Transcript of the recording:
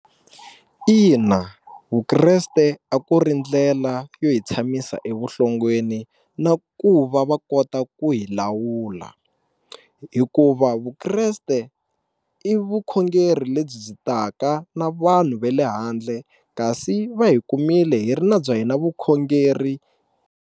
Ina Vukreste a ku ri ndlela yo hi tshamisa evuhlongweni na ku va va kota ku hi lawula hikuva Vukreste i vukhongeri lebyi byi taka na vanhu ve le handle kasi va hi kumile hi ri na bya hina vukhongeri.